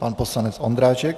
Pan poslanec Ondráček.